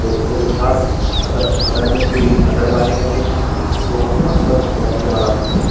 दोस्तों के साथ अगर अगर हमें कोई अदर पार्टी करनी हो तो हम यहाँ पर बहुत ही आराम से --